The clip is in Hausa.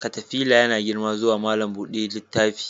Katafila yana girma zuwa malam buɗe littafi.